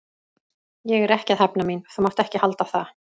Ég er ekki að hefna mín, þú mátt ekki halda það.